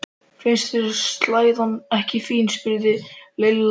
Finnst þér slæðan ekki fín? spurði Lilla undrandi.